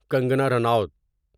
Kangana Ranaut